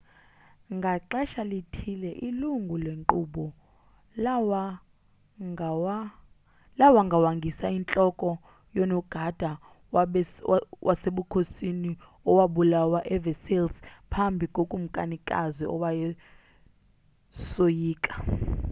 ngaxesha lithile ilungu legquba lawangawangisa intloko yonogada wasebukhosini owabulawa eversailles phambi kokumkanikazi owayesoyika